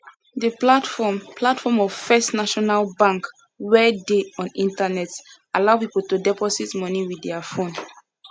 the platform platform of first national bank wey dey on internet allow people to deposit money with their phone